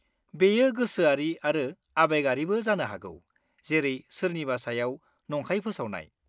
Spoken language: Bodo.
बेयो गोसोआरि आरो आबेगारिबो जानो हागौ, जेरै सोरनिबा सायाव नंखाय फोसावनाय।